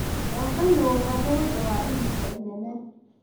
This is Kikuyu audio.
Gũaka nyũmba ni ũndũ wa ihinda inene.